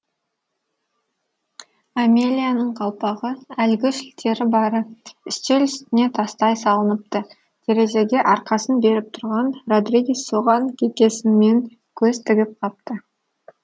амелияның қалпағы әлгі шілтері бары үстел үстіне тастай салыныпты терезеге арқасын беріп тұрған родригес соған кекесінмен көз тігіп қапты